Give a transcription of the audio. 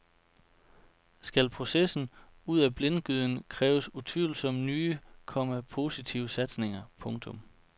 Skal processen ud af blindgyden kræves utvivlsomt nye, komma positive satsninger. punktum